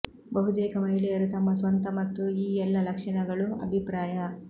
ಬಹುತೇಕ ಮಹಿಳೆಯರು ತಮ್ಮ ಸ್ವಂತ ಮತ್ತು ಈ ಎಲ್ಲ ಲಕ್ಷಣಗಳು ಅಭಿಪ್ರಾಯ